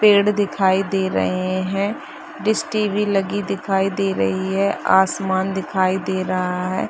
पेड़ दिखाई दे रहे हैं डिस टी.वी. लगी दिखाई दे रही है आसमान दिखाई दे रहा है।